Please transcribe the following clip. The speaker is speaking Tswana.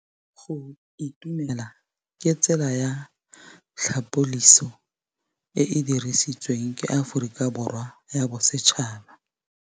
Go itumela ke tsela ya tlhapolisô e e dirisitsweng ke Aforika Borwa ya Bosetšhaba.